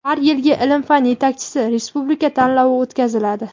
har yilgi "Ilm-fan yetakchisi" respublika tanlovi o‘tkaziladi.